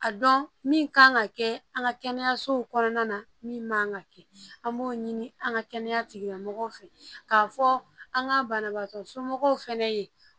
A dɔn min kan ka kɛ an ka kɛnɛyasow kɔnɔna na min man ka kɛ an b'o ɲini an ka kɛnɛya tigilamɔgɔw fɛ k'a fɔ an ka banabagatɔ somɔgɔw fɛnɛ ye